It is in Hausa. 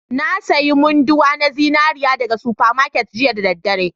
Na sayi munduwa na zinariya daga super market jiya da daddare